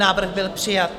Návrh byl přijat.